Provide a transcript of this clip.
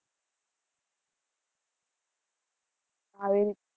હા, એ